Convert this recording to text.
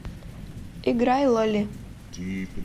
играй лоли